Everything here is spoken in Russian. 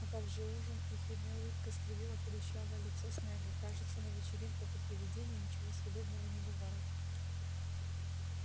а как же ужин ехидная улыбка скривила худощавое лицо снегга кажется на вечеринках у привидений ничего съедобного не бывает